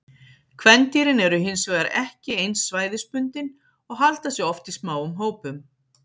Kvendýrin eru hin vegar ekki eins svæðisbundin og halda sig oft í smáum hópum.